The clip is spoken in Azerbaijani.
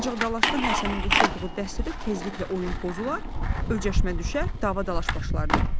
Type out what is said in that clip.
Ancaq dalaşqan Həsənin qoşulduğu dəstədə tezliklə oyun pozular, öcəşmə düşər, davadaş başlardı.